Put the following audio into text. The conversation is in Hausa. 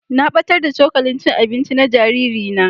Na battar da cokalin cin abinci na jariri na.